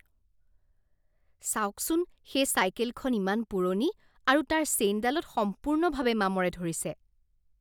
চাওকচোন সেই চাইকেলখন ইমান পুৰণি আৰু তাৰ চেইনডালত সম্পূৰ্ণভাৱে মামৰে ধৰিছে।